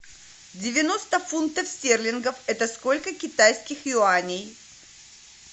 девяносто фунтов стерлингов это сколько китайских юаней